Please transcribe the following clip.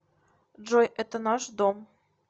джой это наш дом